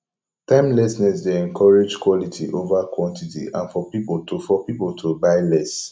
timelessness dey encourage quality over quantity and for pipo to for pipo to buy less